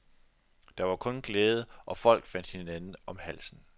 Der var kun glæde og folk faldt hinanden om halsen.